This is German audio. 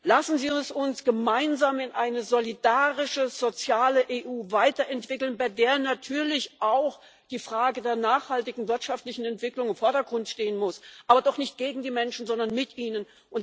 Lassen Sie es uns gemeinsam in eine solidarische, soziale EU weiterentwickeln, bei der natürlich auch die Frage der nachhaltigen wirtschaftlichen Entwicklung im Vordergrund stehen muss, aber doch nicht gegen die Menschen, sondern mit ihnen.